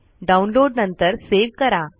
download नंतर save करा